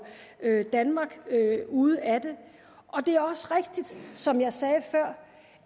danmark ude af den og det er også rigtigt som jeg sagde før